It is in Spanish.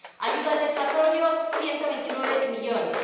ayuda al desarrollo, 129 millones.